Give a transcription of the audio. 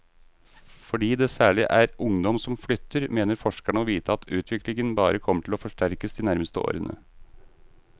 Fordi det særlig er ungdom som flytter, mener forskerne å vite at utviklingen bare kommer til å forsterkes de nærmeste årene.